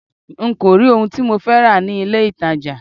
N kò rí ohun tí mo fẹ́ rà ní ilé ìtajà.